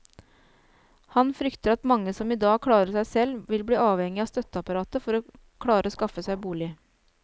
Han frykter at mange som i dag klarer seg selv, vil bli avhengige av støtteapparatet for å klare å skaffe seg bolig.